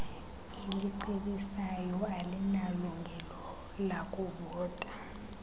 elicebisayo alinalungelo lakuvota